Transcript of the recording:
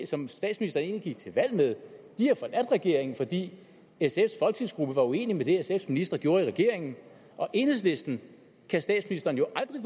som statsministeren egentlig gik til valg med har forladt regeringen fordi sfs folketingsgruppe var uenig i det sfs ministre gjorde i regeringen og enhedslisten kan statsministeren jo aldrig